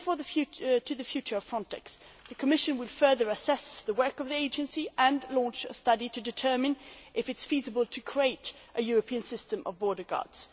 But turning to the future of FRONTEX, the Commission will further assess the work of the Agency and launch a study to determine if it is feasible to create a European system of border guards.